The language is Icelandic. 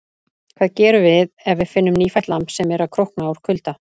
Hvað gerum við ef við finnum nýfætt lamb sem er að krókna úr kulda?